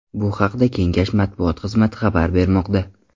Bu haqda Kengash matbuot xizmati xabar bermoqda .